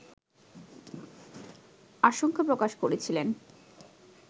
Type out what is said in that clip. আশঙ্কা প্রকাশ করেছিলেন